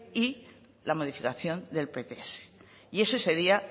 y la modificación del pts y ese sería